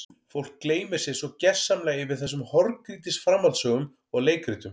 Fólk gleymir sér svo gersamlega yfir þessum horngrýtis framhaldssögum og leikritum.